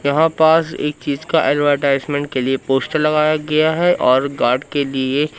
यहां पास एक चीज का एडवरटाइजमेंट के लिए पोस्टर लगाया गया है और गार्ड के लिए।--